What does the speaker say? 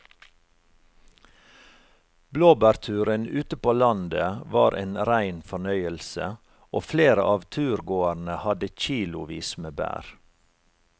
Blåbærturen ute på landet var en rein fornøyelse og flere av turgåerene hadde kilosvis med bær.